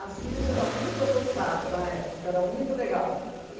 Sears era muito avançada na época, era muito legal.